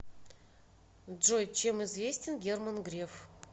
джой чем известен герман греф